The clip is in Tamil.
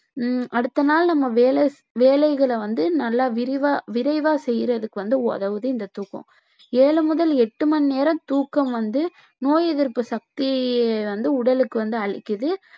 ஹம் அடுத்த நாள் நம்ம வேலை வேலைகளை வந்து நல்லா விரிவா விரைவா செய்யறதுக்கு வந்து உதவது இந்த தூக்கம் ஏழு முதல் எட்டு மணி நேரம் தூக்கம் வந்து நோய் எதிர்ப்பு சக்தியை வந்து உடலுக்கு வந்து அளிக்குது